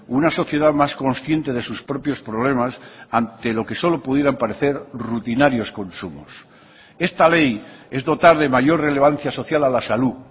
una sociedad más consciente de sus propios problemas ante lo que solo pudieran parecer rutinarios consumos esta ley es dotar de mayor relevancia social a la salud